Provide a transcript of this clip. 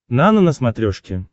нано на смотрешке